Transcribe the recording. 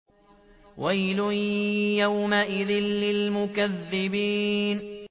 وَيْلٌ يَوْمَئِذٍ لِّلْمُكَذِّبِينَ